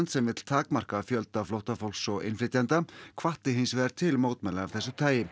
sem vill takmarka fjölda flóttafólks og innflytjenda hvatti hins vegar til mótmæla af þessu tagi